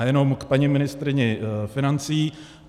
A jenom k paní ministryni financí.